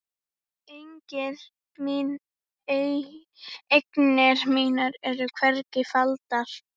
Eignir mínar eru hvergi faldar.